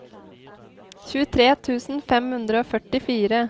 tjuetre tusen fem hundre og førtifire